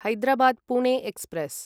Hyderabad Pune express